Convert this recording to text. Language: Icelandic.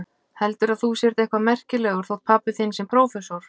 Heldurðu að þú sért eitthvað merkilegur þótt pabbi þinn sé prófessor.